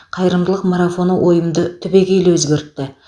қайырымдылық марафоны ойымды түбегейлі өзгертті